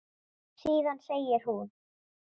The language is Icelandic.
Síðan segir hún